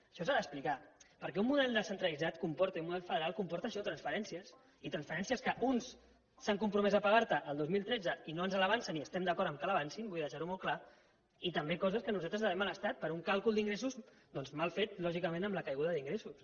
això s’ha d’explicar perquè un model descentralitzat i un model federal comporten això transferències i transferències que uns s’han compromès a pagar te el dos mil tretze i no ens avancen i estem d’acord que les avancin vull deixar ho molt clar i també coses que nosaltres devem a l’estat per un càlcul d’ingressos mal fet lògicament amb la caiguda d’ingressos